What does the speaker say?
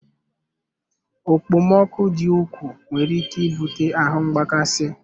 Okpomọkụ dị ukwuu nwere ike ibute ahu mgbakasị